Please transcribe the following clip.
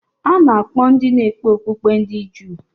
A na-akpọ ndị na-ekpe okpukpe ndị Juu.